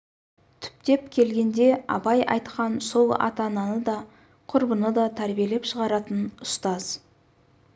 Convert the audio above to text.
түптеп келгенде абай айтқан сол ата-ананы да құрбыны да тәрбиелеп шығаратын ұстаз